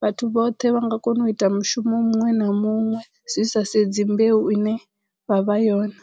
vhathu vhoṱhe vha nga kono u ita mushumo muṅwe na muṅwe zwi sa sedzi mbeu ine vha vha yone.